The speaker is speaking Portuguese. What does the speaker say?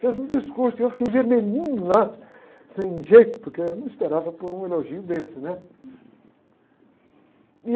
Fez um discurso e eu fiquei vermelhinho lá, sem jeito, porque eu não esperava por um elogio desse, né?